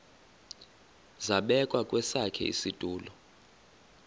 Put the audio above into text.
zabekwa kwesakhe isitulo